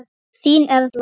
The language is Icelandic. Þín Erla.